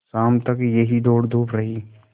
शाम तक यह दौड़धूप रही